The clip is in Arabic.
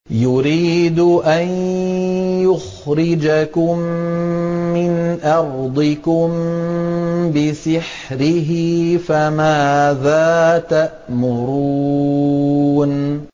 يُرِيدُ أَن يُخْرِجَكُم مِّنْ أَرْضِكُم بِسِحْرِهِ فَمَاذَا تَأْمُرُونَ